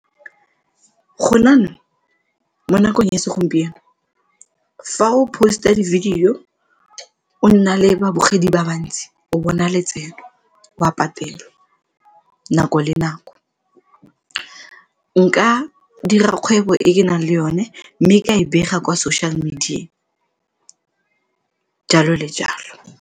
Gone jaanong mo nakong ya segompieno, fa o post-a di-video, o nna le babogedi ba bantsi o bona letseno o a patelwa nako le nako, nka dira kgwebo e ke nang le yone mme ka e bega kwa social media, jalo le jalo.